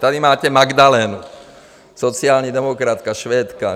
Tady máte Magdalenu, sociální demokratka, Švédka.